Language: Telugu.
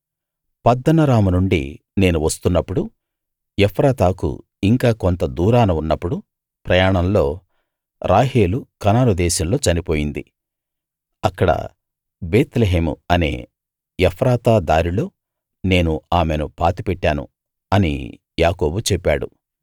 పద్దనరాము నుండి నేను వస్తున్నపుడు ఎఫ్రాతాకు ఇంకా కొంత దూరాన ఉన్నపుడు ప్రయాణంలో రాహేలు కనాను దేశంలో చనిపోయింది అక్కడ బేత్లెహేము అనే ఎఫ్రాతా దారిలో నేను ఆమెను పాతిపెట్టాను అని యాకోబు చెప్పాడు